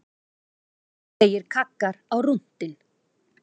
Kraftalegir kaggar á rúntinn